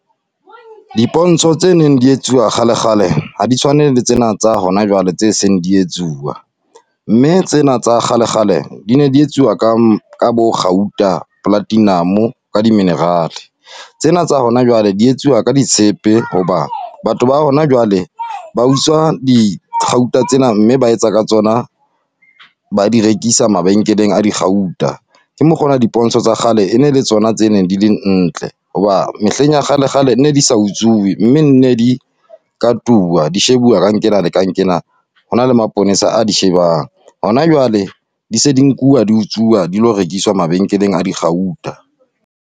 Dipontsho tse neng di etsuwa kgale kgale, ha di tshwane le tsena tsa hona jwale, tse seng di etsuwa. Mme tsena tsa kgale kgale, di ne di etsuwa ka bo kgauta, platinum-o ka di-mineral-e. Tsena tsa hona jwale di etsuwa ka di tshepe hoba, batho ba hona jwale. Ba utswa dikgauta tsena, mme ba etsa ka tsona , ba di rekisa mabenkeleng a dikgauta. Ke mokgwa o na le dipontsho tsa kgale e ne le tsona tse neng di le ntle, hoba mehleng ya kgale kgale nne di sa utsuwe mme nne di katuwa. Di shebuwa ka nqena le ka nqena. Ho na le maponesa a di shebang, hona jwale di se di nkuwa di utsuwa, dilo rekiswa mabenkeleng a dikgauta.